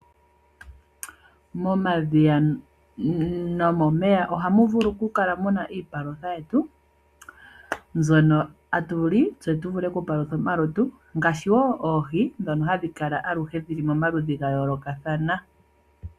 Momadhiya nomomeya oha mu vulu oku kala muna iipalutha yetu mbyono hatu li , tse tu vule oku palutha omalutu, ngaashi oohi ndhono hadhi kala aluhe dhi li momaludhi ga yoolokathana.